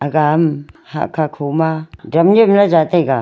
agam hakha khoma dam nyemla zaa taiga.